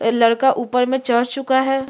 ए लड़का ऊपर में चढ़ चुका है।